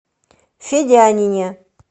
федянине